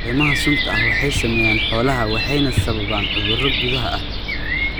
Caleemaha sunta ah waxay saameeyaan xoolaha, waxayna sababaan cudurro gudaha ah.